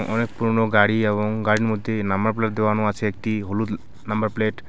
অ-অনেক পুরনো গাড়ি এবং গাড়ির মধ্যে নাম্বার প্লেট দেওয়ানো আছে একটি হলুদ নাম্বার প্লেট ।